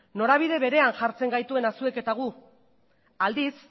norabide berean jartzen gaituena zuek eta guk aldiz